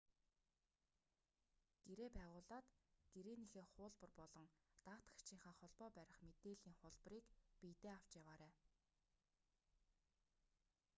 гэрээ байгуулаад гэрээнийхээ хуулбар болон даатгагчийнхаа холбоо барих мэдээллийн хуулбарыг биедээ авч яваарай